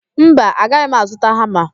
Mba, agaghị m azụta hama.